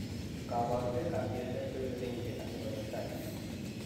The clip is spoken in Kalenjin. Kabarunoik ab PLS koibe kenyisiek asikotestai